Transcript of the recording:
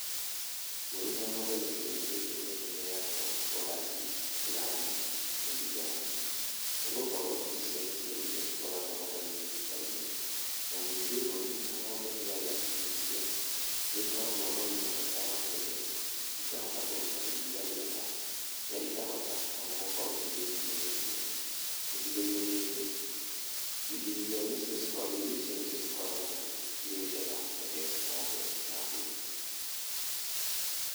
Mbũri na ng'ombe gĩcigo-inĩ gĩkĩ nĩ iheagwo Polandi, Brani, maize jamu, nĩgũkorwo icio nĩcio irio cikoragwo na raithi nduka-inĩ na ningĩ mbũrĩ na ng'ombe ciaria irio icio nĩ ĩkoragwo na ũgĩma mwega wa mwĩrĩ ikahota kũrũta iriia rĩega na ikahota ona gũkorwo cigĩtirĩa mĩrimũ, gicigo-inĩ gĩkĩ irio icio nicio cikoragwo cirĩ njega kũhe ng'ombe na mbũri.